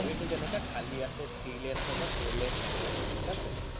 highway টো যেনেকে খালী আছে three lane হয় বা four lane highway হয় ঠিক আছে